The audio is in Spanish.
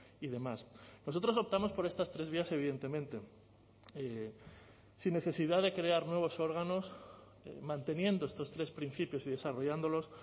y demás nosotros optamos por estas tres vías evidentemente sin necesidad de crear nuevos órganos manteniendo estos tres principios y desarrollándolos